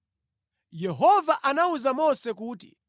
Yehova anawuza Mose kuti,